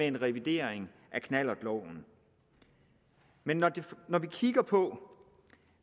en revidering af knallertloven men når vi kigger på